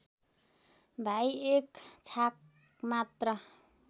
भई एक छाकमात्र